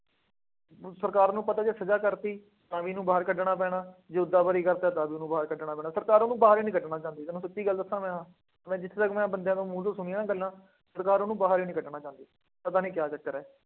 ਹੁਣ ਸਰਕਾਰ ਨੂੰ ਪਤਾ ਜਦੋਂ ਸਜ਼ਾ ਕਰਤੀ ਤਾਂ ਵੀ ਇਹਨੂੰ ਬਾਹਰ ਕੱਢਣਾ ਪੈਣਾ, ਜੇ ਉਦਾਂ ਬਰੀ ਕਰਤਾ ਤਾਂ ਵੀ ਇਹਨੂੰ ਬਾਹਰ ਕੱਢਣਾ ਪੈਣਾ। ਸਰਕਾਰਾਂ ਉਹਨੂੰ ਬਾਹਰ ਹੀ ਨਹੀਂ ਕੱਢਣਾ ਚਾਹੁੰਦੀ, ਤੁਹਾਨੂੰ ਸੱਚੀ ਗੱਲ ਦੱਸਾਂ ਮੈਂ ਆਹ, ਮੈਂ ਜਿੱਥੇ ਤੱਕ ਮੈਂ ਬੰਦਿਆਂ ਦੇ ਮੂੰਹ ਤੋਂ ਸੁਣੀਆਂ ਗੱਲਾਂ, ਸਰਕਾਰ ਉਹਨੂੰ ਬਾਹਰ ਹੀ ਨਹੀਂ ਕੱਢਣਾ ਚਾਹੁੰਦੀ। ਪਤਾ ਨਹੀਂ ਕਿਆ ਚੱਕਰ ਹੈ।